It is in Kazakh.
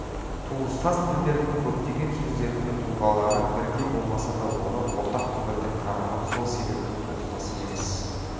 туыстас тілдердің көптеген сөздерінің тұлғалары бірдей болмаса да олар ортақ түбірден тараған сол себепті туыстас емес